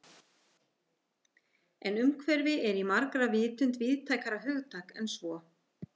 En umhverfi er í margra vitund víðtækara hugtak en svo.